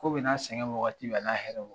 Ko bɛ n'a a sɛgɛn wagati bɛ, a n'a hɛrɛw.